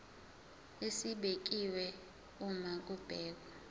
esibekiwe uma kubhekwa